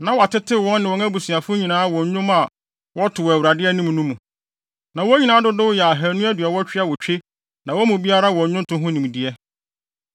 Na wɔatetew wɔn ne wɔn abusuafo nyinaa wɔ nnwom a wɔto wɔ Awurade anim no mu. Na wɔn nyinaa dodow yɛ ahannu aduɔwɔtwe awotwe na wɔn mu biara wɔ nnwonto ho nimdeɛ.